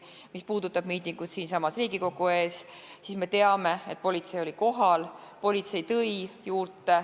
Mis puudutab miitingut siinsamas Riigikogu ees, siis me teame, et politsei oli kohal.